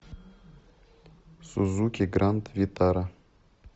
сузуки гранд витара